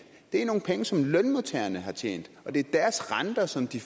det er nogle penge som lønmodtagerne har tjent og det er deres renter som de